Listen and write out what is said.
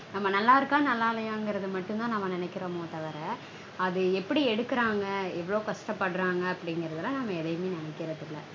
நம்ம நல்லா இருக்கா நல்லா இல்லையாங்கறது மட்டும்தா நம்ம நெனைக்கறோமே தவர அது எப்படி எடுக்கறாங்க எவ்வளவு கஷ்டப்படறாங்க அப்படீங்கறதுலாம் நம்ம எதையுமே நெனைக்கறதில்ல